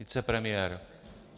Vicepremiér?